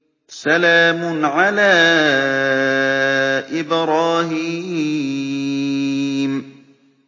سَلَامٌ عَلَىٰ إِبْرَاهِيمَ